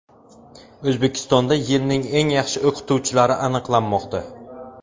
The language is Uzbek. O‘zbekistonda yilning eng yaxshi o‘qituvchilari aniqlanmoqda.